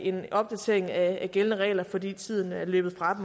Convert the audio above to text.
en opdatering af gældende regler fordi tiden er løbet fra